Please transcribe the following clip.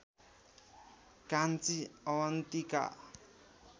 Kanchi Avantika